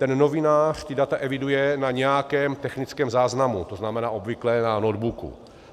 Ten novinář ta data eviduje na nějakém technickém záznamu, to znamená obvykle na notebooku.